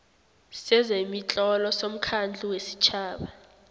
sezemitlolo somkhandlu wesitjhaba